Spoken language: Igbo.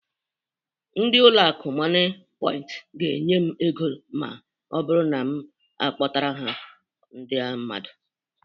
Ndị ụlọ akụ Mọnịpọint ga-enye m ego ma ọ bụrụ na m akpọtara ha ndị mmadụ